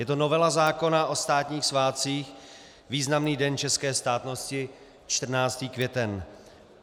Je to novela zákona o státních svátcích, významný den české státnosti, 14. květen.